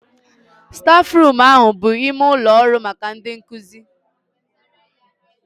Stafruum ahụ bụ ime ụlọ ọrụ maka ndị nkụzi